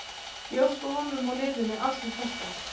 Ég óska honum og liðinu alls hins besta.